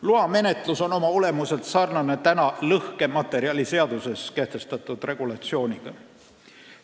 Loa menetlus on oma olemuselt sarnane lõhkematerjaliseaduses kehtestatud regulatsiooniga.